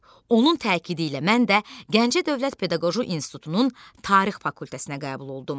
Onun təkidi ilə mən də Gəncə Dövlət Pedaqoji İnstitutunun Tarix fakültəsinə qəbul oldum.